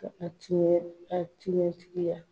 A tuɲɛ a tuɲɛ tigiya